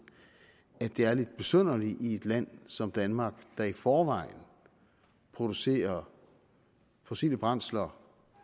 at det er lidt besynderligt at i et land som danmark der i forvejen producerer fossile brændsler